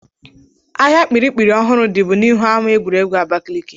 Ahịa kpirikpiri ọhụrụ dịbu n'ihu ama egwuregwu Abakaliki.